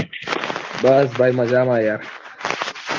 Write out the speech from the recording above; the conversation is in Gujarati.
બસ ભાઈ મજામાં યાર